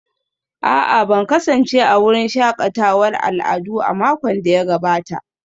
A'a ban kasance a wurin shakatawar al'adu a makon da ya gabata